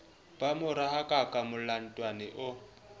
ba mo rahakaka molatoane o